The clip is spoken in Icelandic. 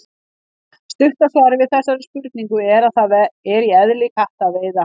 Stutta svarið við þessari spurningu er að það er í eðli katta að veiða.